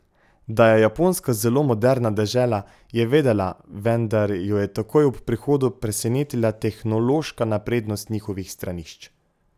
Da je Japonska zelo moderna dežela, je vedela, vendar jo je takoj ob prihodu presenetila tehnološka naprednost njihovih stranišč.